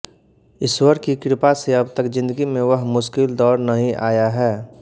ईश्वर की कृपा से अब तक जिंदगी में वह मुश्किल दौर नहीं आया है